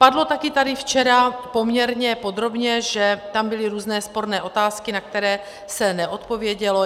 Padlo tady také včera poměrně podrobně, že tam byly různé sporné otázky, na které se neodpovědělo.